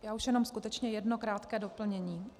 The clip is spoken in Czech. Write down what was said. Já už jenom skutečně jedno krátké doplnění.